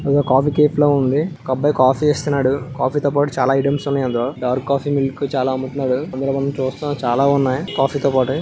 ఇదొక కాఫీ కేఫ్లా ఉంది. ఒక అబ్బాయి కాఫీ చేస్తున్నాడు. కాఫీ తో పాటు చాలా ఐటమ్స్ ఉన్నాయి. డార్క్ కాఫీ మిల్క్ చాలా అమ్ముతున్నాడు. అందులో మనం చూస్తున్నాము చాలా ఉన్నాయి కాఫీ తో పాటు--